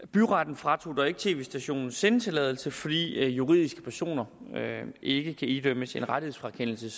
byretten fratog dog ikke tv stationen sendetilladelsen fordi juridiske personer ikke kan idømmes en rettighedsfrakendelse